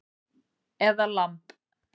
Eða lamb